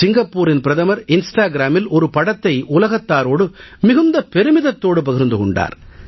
சிங்கப்பூரின் பிரதமர் இன்ஸ்டாகிராமில் ஒரு படத்தை உலகத்தாரோடு மிகுந்த பெருமிதத்தோடு பகிர்ந்து கொண்டார்